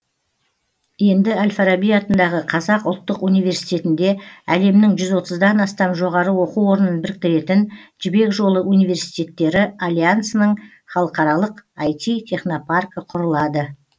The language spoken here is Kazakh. енді әл фараби атындағы қазақ ұлттық университетінде әлемнің жүз отыздан астам жоғары оқу орнын біріктіретін жібек жолы университеттері альянсының халықаралық іт технопаркі құрылады